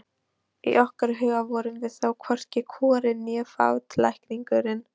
Í okkar huga vorum við þó hvorki kúgarinn né fátæklingurinn.